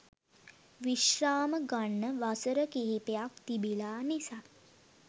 විශ්‍රාම ගන්න වසර කිහිපයක් තිබිලා නිසා